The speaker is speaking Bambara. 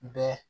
Bɛɛ